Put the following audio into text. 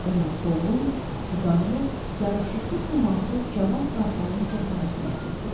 Onun solğun, vüqarlı, yaraşıqlı siması cavan qartalın cəsarətini əks etdirirdi.